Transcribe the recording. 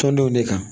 Tɔndenw ne kan